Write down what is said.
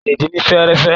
A lè din ni fẹ́ẹ́rẹ́fẹ́.